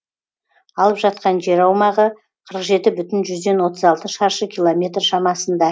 алып жатқан жер аумағы қырық жеті бүтін жүзден отыз алты шаршы километр шамасында